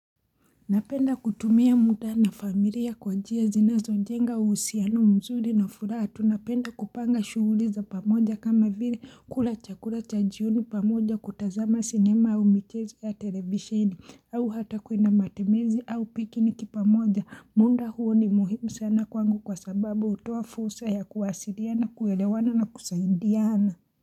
Napenda kutumia muda na familia kwa njia zinazo njenga uhusiano mzuri na furaha tu napenda kupanga shuguli za pamoja kama vile kula chakula cha jioni pamoja kutazama sinema au michezo ya televisheni au hata kuenda matembezi au picknick pamoja muda huo ni muhimu sana kwangu kwa sababu hutoa fulsa ya kuwasiliana kuwelewana na kusaidiana.